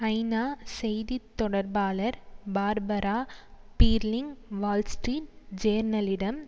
ஐநா செய்தி தொடர்பாளர் பார்பரா பீர்லிங் வால்ஸ்ட்ரீட் ஜேர்னலிடம்